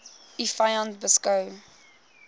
u vyand beskou